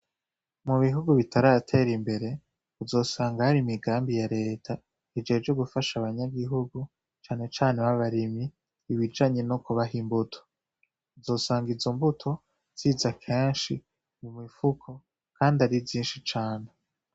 Mugihugu bitarater'imbere uzosanga har'imigambi ya reta ijejwe gufasha abanyagihugu cane cane b'abarimyi ibijanye nokubah 'imbuto. uzosang'izombuto ziza kenshi mu mifuko kand'ari vyinshi cane.